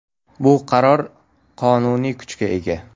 Bu qaror qonuniy kuchga ega.